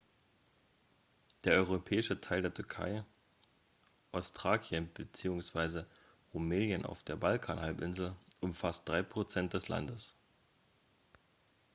der europäische teil der türkei ostthrakien bzw. rumelien auf der balkanhalbinsel umfasst 3 % des landes